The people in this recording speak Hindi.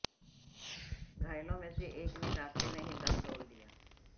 घायलों में से एक ने रास्ते में ही दम तोड़ दिया